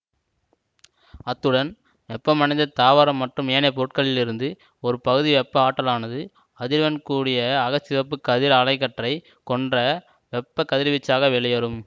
அத்துடன் வெப்பமடைந்த தாவரம் மற்றும் ஏனைய பொருட்களிலிருந்து ஒரு பகுதி வெப்ப ஆற்றலானது அதிர்வெண் கூடிய அகச்சிவப்பு கதிர் அலை கற்றை கொண்ட வெப்பக் கதிர்வீச்சாக வெளியேறும்